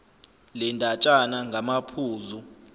le ndatshana ngamaphuzu